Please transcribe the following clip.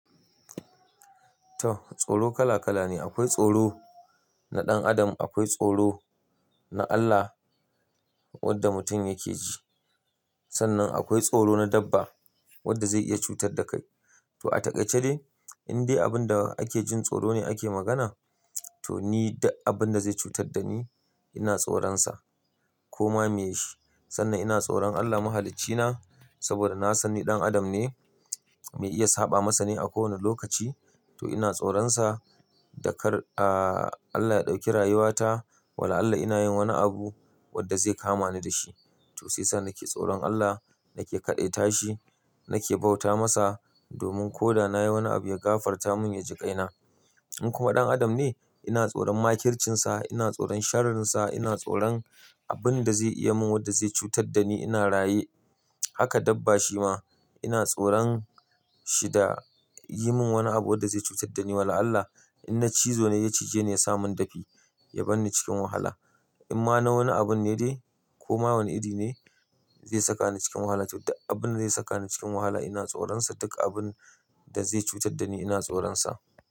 To, tsoro kala kala ne. Akwai tsoro na ɗan adam, akwai tsoro na Allah wadda mutum yake ji. Sannan akwai tsoro na dabba wadda zai iya cutar da kai. To a takaice dai, in dai abin da ake jin tsoro ne ake magana, to ni duk abin da zai cutar da ni ina tsoronsa, ko ma me shi. Sannan ina tsoron Allah Mahaliccina saboda na san ni ɗan adam ne, me iya saɓa masa ne a ko wane lokaci. To ina tsoronsa da kar, ah, Allah ya ɗauki rayuwata. Wala Allah ina yin wani abu wadda zai kama ni da shi. To sai yasa nake tsoron Allah, nake kaɗaita shi, nake bauta masa domin ko da na yi wani abu ya gafarta mun ya ji ƙaina. In kuma ɗan adam ne, ina tsoron makircinsa, ina tsoron sharrinsa, ina tsoron abin da zai iya min wadda zai cutar da ni, ina raye. Haka dabba shi ma ina tsoron shi da yi min wani abu wadda zai cutar da ni. Wala Allah in na cizo ne ya cije ni ya sa mun dafi, ya banni cikin wahala. In ma na wani abun ne dai ko ma wani iri ne zai saka ni cikin wahala, to duk abin da zai saka ni cikin wahala ina tsoronsa. Duk abin da zai cutar da ni ina tsoronsa.